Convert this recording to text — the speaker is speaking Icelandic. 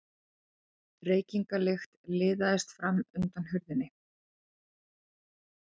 Reykingalykt liðaðist fram undan hurðinni.